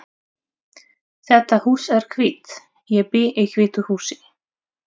Þetta hús er hvítt. Ég bý í hvítu húsi.